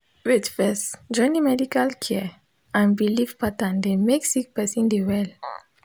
wait first joining medical care and bilif patterns dey mek sik peron dey well